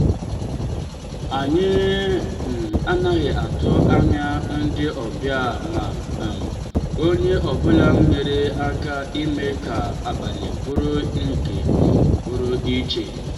anyị um anaghị atụ anya ndị ọbịa ma um onye ọ bụla nyere aka ime ka abalị bụrụ nke um pụrụ iche.